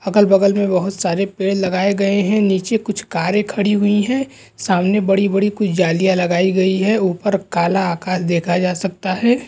अगल-बगल मे बहुत सारे पेड़ लगाए गये है नीचे कुछ कारे खडी हुई है सामने बड़ी-बड़ी कुछ जालिया लगाई गयी है ऊपर काला आकाश देखा जा सकता है।